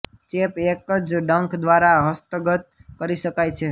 ચેપ એક જ ડંખ દ્વારા હસ્તગત કરી શકાય છે